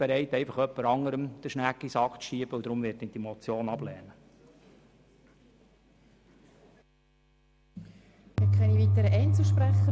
Aber ich bin, wie gesagt, nicht bereit «öpper anderem dr Schnägg i Sack z stoosse».